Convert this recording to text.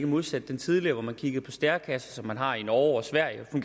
modsat den tidligere hvor man kiggede på stærekasser som man har i norge og sverige og